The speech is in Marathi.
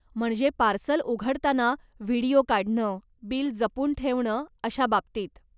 म्हणजे पार्सल उघडताना व्हिडियो काढणं, बिल जपून ठेवणं अशा बाबतीत.